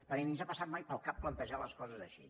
perquè ni ens ha passat mai pel cap plantejar les coses així